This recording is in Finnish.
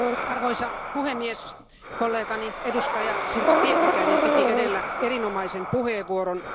Arvoisa puhemies, kollegani, edustaja Sirpa Pietikäinen piti edellä erinomaisen puheenvuoron.